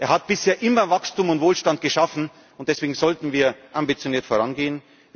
Er hat bisher immer Wachstum und Wohlstand geschaffen, und deswegen sollten wir ambitioniert